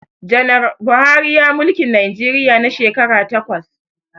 Janar Buhari ya mulki Najeriya na shekara takwas